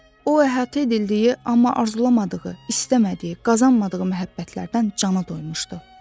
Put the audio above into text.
O əhatə edildiyi, amma arzulamadığı, istəmədiyi, qazanmadığı məhəbbətlərdən canı doymuşdu.